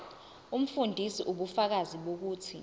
umfundisi ubufakazi bokuthi